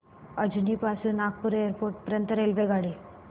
अजनी पासून नागपूर एअरपोर्ट पर्यंत रेल्वेगाडी